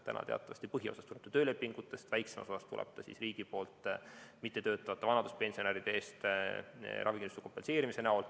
Praegu teatavasti põhiosa tuleb töölepingutest, väike osa tuleb riigi poolt, s.o mittetöötavate vanaduspensionäride ravikindlustuse kompenseerimine.